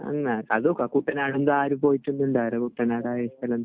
അല്ല. അത് കുട്ടനാട് ഉണ്ട്. ആരും പോയിട്ടൊന്നും ഉണ്ടാവില്ല.